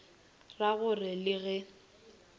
ra go re le ge